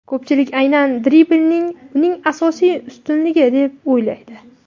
Ko‘pchilik aynan dribling uning asosiy ustunligi deb o‘ylaydi.